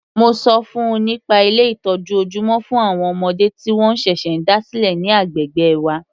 Mo ṣọ fún -un nípa Ilé ìtọ́jú ojúmọ́ fún àwọn ọmọdé tí wọ́n ṣẹ̀ṣẹ̀ dá sílẹ̀ ní agbègbè wa.